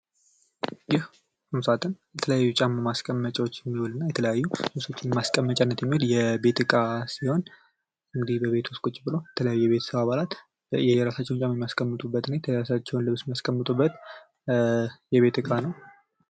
ይህ ቁምሳጥን የተለያዪ ጫማዎች ማስቀመጫዎች እና የተለያዪ ቁሳቁሶች ማስቀመጫ የቤት እቃ ሲሆን በቤት ዉስጥ ቁጭ ብሎ የቤተሰብ አባላት የየራሳቸውን እቃ የየራሳቸውን ልብስ የሚያስቀምጡበት እቃ ነው።